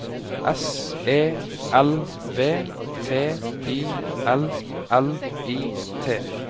S E L V T I L L I T